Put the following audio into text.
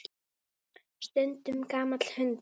Stundum gamall hundur.